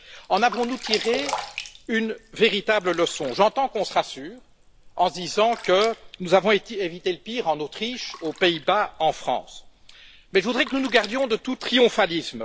En avons nous tiré une véritable leçon? J'entends que l'on se rassure en se disant que nous avons évité le pire en Autriche, aux Pays Bas et en France, mais je voudrais que nous nous gardions de tout triomphalisme.